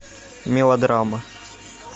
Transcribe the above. мелодрама